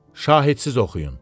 Şahidsiz oxuyun.